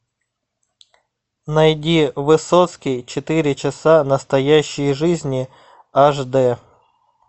найди высоцкий четыре часа настоящей жизни аш дэ